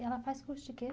E ela faz curso de quê?